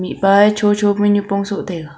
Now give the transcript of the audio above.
mihpa e chocho pe nipong soh taiga.